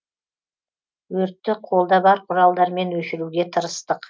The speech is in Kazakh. өртті қолда бар құралдармен өшіруге тырыстық